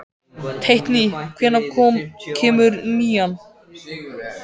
Teitný, hvenær kemur nían?